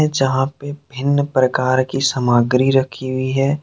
जहा पे विभिन्न प्रकार की सामग्री रखी हुई है।